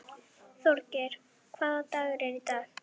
Þorgeir, hvaða dagur er í dag?